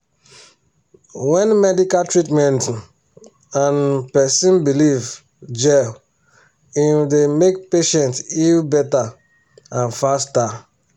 when medical treatment um and um person belief jell e um dey make patients heal better and faster.